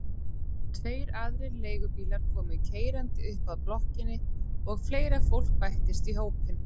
Tveir aðrir leigubílar komu keyrandi upp að blokkinni og fleira fólk bættist í hópinn.